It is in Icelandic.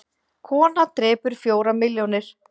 Kona drepur fjórar milljónir